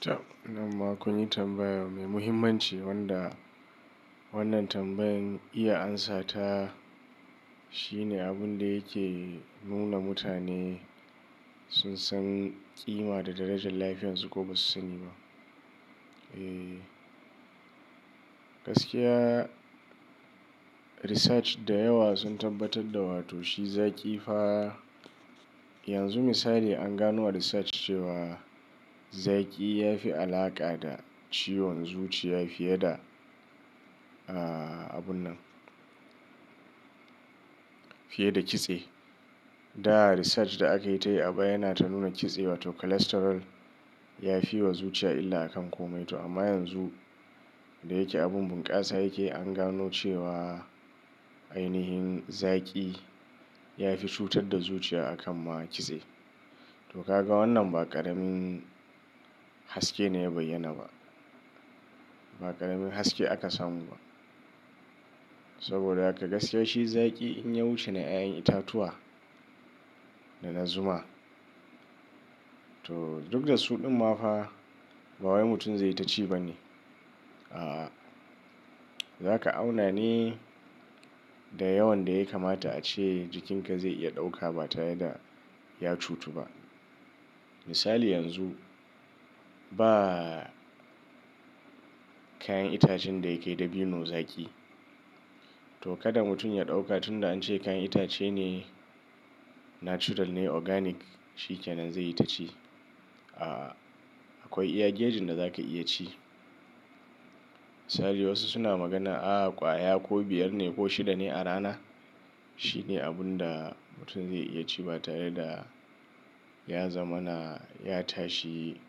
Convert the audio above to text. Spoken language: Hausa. Take, nan ma kun yi tambaya mai muhimmanci wanda wannan tambayan iya amsa ta shine abun da yake nuna mutane sun san ƙima da darajan lafiyarsu ko ba su sani ba. Ee, gaskiya research da yawa sun tabbatar da wa to shi zaƙi fa. Yanzu misali an gano a research cewa zaki ya fi alaƙa da ciwon zuciya fiye da, ah abun nan. Fiye da kitse. Da research da akai ta yi baya yana ta nuna kitse wato cholesterol ya fi wa zuciya illa a kan komai to amma yanzu da yake abun bunƙasa yake an gano cewa ainihin zaƙi ya fi cutar da zuciya a kan ma kitse. To ka ga wannan ba ƙaramin haske ne ya bayyana ba, ba ƙaramin haske aka samu ba. Saboda haka gaskiya shi zaƙi in ya wuce na ƴaƴan itatuwa da na zuma to duk da su ɗin ma fa. Ba wai mutum zai yi ta ci ba ne. A'a, zaka auna ne. Da yawan da ya kamata ace jikinka zai iya ɗauka ba tare da ya cutu ba. Misali yanzu ba kayan itacen da ya kai dabino zaƙi. To kada mutum ya ɗauka tun da an ce kayan itace ne natural ne organic shi ke nan zai yi ta ci. A'a, akwai iya gejin da za ka iya ci. Misali wasu suna magana ah ƙwaya ko biyar ne ko shida ne a rana. Shi ne abun da mutum zai iya ci ba tare da ya zamana ya tashi